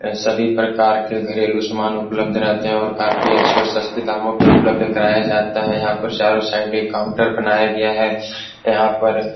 सभी प्रकार के घरेलू सामान उपलब्ध रहते हैं और काफी अच्छे और सस्ते दामों पे उपलब्ध कराया जाता है यहाँ पर चारों साइड एक काउंटर बनाया गया है यहाँ पर --